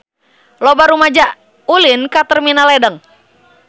Loba rumaja ulin ka Terminal Ledeng